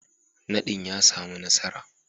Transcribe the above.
Nadin ya samu nasara.